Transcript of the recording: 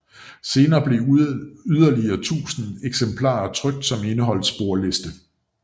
Senere blev yderligere 1000 eksemplarer trykt som indeholdt sporliste